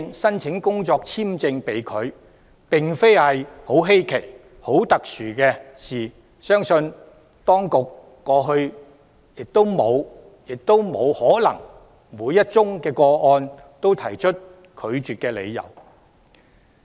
由此可見，工作簽證申請被拒並非十分稀奇或特殊的事情，相信當局過去亦不可能就每宗個案提出拒絕申請的理由。